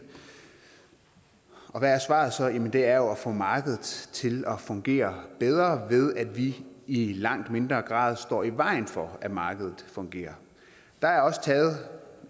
hvad er svaret så jamen det er jo at få markedet til at fungere bedre ved at vi i langt mindre grad står i vejen for at markedet fungerer der er også taget